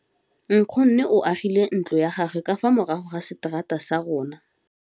Nkgonne o agile ntlo ya gagwe ka fa morago ga seterata sa rona.